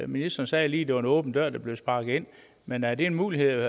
ministeren sagde lige det var en åben dør der blev sparket ind men er der mulighed